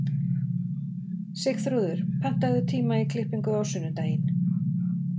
Sigþrúður, pantaðu tíma í klippingu á sunnudaginn.